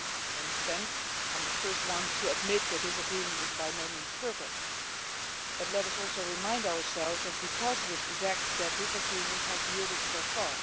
18. I understand, and I am the first one to admit that this agreement is by no means perfect, but let us also remind ourselves of the positive effects that this agreement has yielded so far.